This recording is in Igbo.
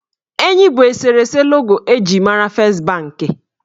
Enyi bụ eserese logo eji mara fest banki.